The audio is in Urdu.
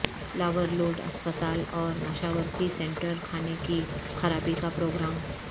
لاورلوڈ ہسپتال اور مشاورتی سینٹر کھانے کی خرابی کا پروگرام